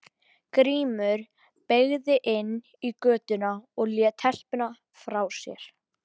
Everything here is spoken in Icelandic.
Grímur beygði inn í götuna og lét telpuna frá sér.